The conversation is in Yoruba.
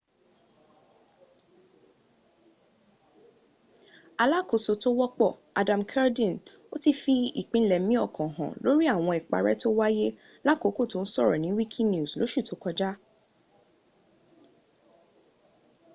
alákòóso tó wọ́pọ̀ adam cuerden ti fi ìpinlẹẹ̀mí ọkàn hàn lórí àwọn ìparẹ́ tó wáyé lákòókò tó ń sọ̀rọ̀ ní wikinews lóṣù tó kọjá